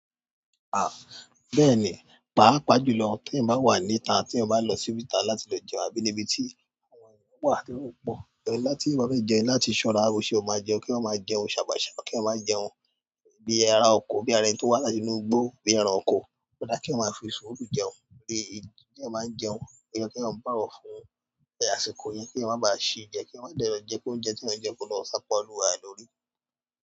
Ah! Bẹ́ẹ̀ni, pàápàá jùlọ tí èèyàn bá wà níta, tí èèyàn bá lọ síbìta láti lọ jẹun, àbí níbi tí àwọn èèyàn wà tí èrò pọ̀, ìrọ̀ láti ìbami jẹun láti ṣọ́ra, ó ṣe ó máa jẹun kí wọ́n máa jẹun, ṣàbàṣà kí ẹ máa jẹun bíi ará oko, bíi ara ẹni tí ó wà láti inú igbó, bíi ẹranko. Kí á máa fi sùúrù jẹun, bíi ti èèyàn bá ń jẹun, kí ẹ máa ń bá ọ̀fun tẹ́ àsìkò yẹn, kí ẹ má ba à ṣe jẹ, kí ẹ má dárọ̀ jẹ kí oúnjẹ tí ẹ ń jẹ kó lọ sápa ọlúwa lórí.